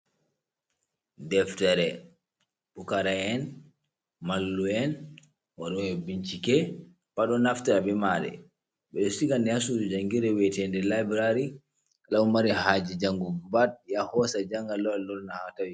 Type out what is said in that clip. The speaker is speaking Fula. Deftere pukara'en, mallum'en, waɗoɓe bincike pat ɗon naftira be maare, ɓeɗon siga nde ha suuɗi jangirde wi'etende laiburari, kala mo mari haaje jangugo pat yaha ohoosa o janga, yaha lorna haa tawinde.